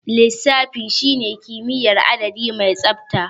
Lissafi shine kimiyyar adadi mai tsabta.